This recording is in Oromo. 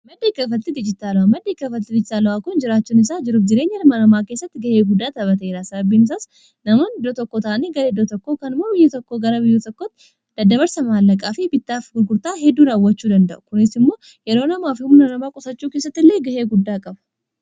maddii kalafalti Dijitaala'a maddii kaafaltiti ijitaalu'aa kun jiraachun isaa jiruf jireenya hirma namaa keessatti ga'ee guddaa tapateraa. sababiimsaas namoon iddoo tokko taanii garee doo tokkoo kanmoo biyyuuma tokko gara biyyuu tokkoti daddabarsa maallaqaa fi bittaaf gurgurtaa hedduu raawwachuu danda'u kunis immoo yeroo namaa fi humna namaa qusachuu keessatti illee gahee guddaa qabu.